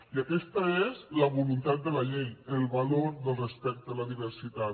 i aquesta és la voluntat de la llei el valor del respecte a la diversitat